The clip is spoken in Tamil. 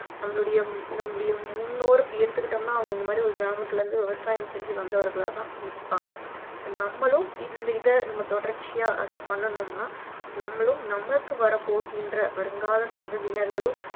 நம்மளுடைய நம்மளுடைய முன்னோர் அப்படின்னு எடுத்துக்கிட்டோம்னா அவங்க இந்த மாதிரி ஒரு கிராமத்துல இருந்து விவசாயம் செஞ்சி வந்தவர்களா தான் இருப்பாங்க நம்மளும் இந்த இதை தொடர்ச்சியா பண்ணணும்னா நம்மளும் நமக்கு வரப் போகின்ற வருங்கால சந்ததியினர்களும்